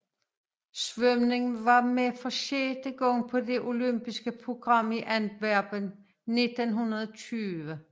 Svømning var med for sjette gang på det olympiske program i Antwerpen 1920